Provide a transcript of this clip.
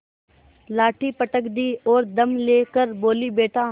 लाठी पटक दी और दम ले कर बोलीबेटा